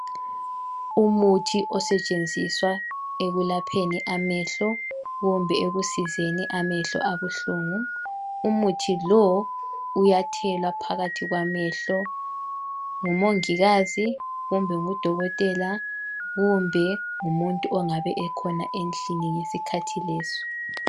Umuthi osetshenziswa ekulapheni amehlo kumbe ekusizeni amehlo abuhlungu, umuthi lo uyathela phakathi kwamehlo ngumongikazi kumbe ngudokotela kumbe ngumuntu ongabe khona endlini ngesikhathi leso.